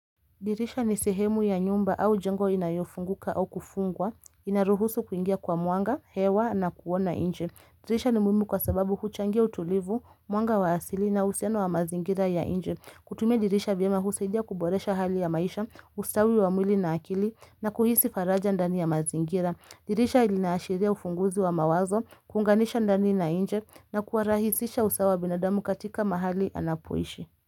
Dirisha ni sehemu ya nyumba au jengo inayofunguka au kufungwa, inaruhusu kuingia kwa mwanga, hewa na kuona nje. Dirisha ni muhimu kwa sababu huchangia utulivu, mwanga wa asili na uhusiano wa mazingira ya nje. Kutumia dirisha vyema husaidia kuboresha hali ya maisha, ustawi wa mwili na akili na kuhisi faraja ndani ya mazingira. Dirisha linaashiria ufunguzi wa mawazo, kuunganisha ndani na nje na kuwarahisisha usawa binadamu katika mahali anapoishi.